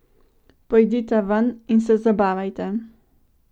Pojdita ven in se zabavajta.